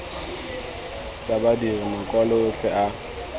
tsa badiri makwalo otlhe a